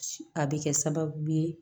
A bɛ kɛ sababu ye